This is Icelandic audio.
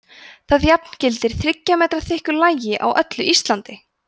það jafngildir þriggja metra þykku lagi á öllu íslandi!